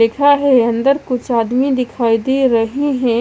दिख रहा है अंदर कुछ आदमी दिखाई दे रहे है।